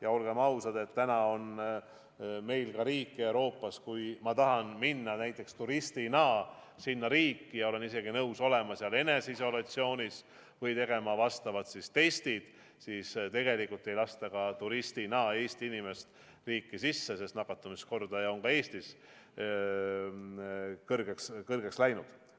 Ja olgem ausad, täna on meil Euroopas ka selliseid riike, et kui ma tahan näiteks turistina sinna minna ja olen isegi nõus olema seal eneseisolatsioonis või tegema vastavad testid, siis tegelikult ei lasta Eesti inimest turistina riiki sisse, sest nakatumiskordaja on ka Eestis kõrgeks läinud.